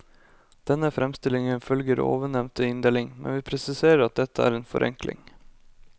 Denne framstillingen følger ovennevnte inndeling, men vi presiserer at dette er en forenkling.